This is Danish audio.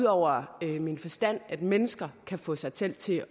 over min forstand at mennesker kan få sig selv til